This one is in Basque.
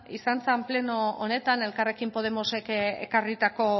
izan zen pleno honetan elkarrekin podemosek ekarritako